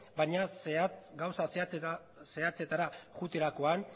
baina gauza zehatzetara joaterakoan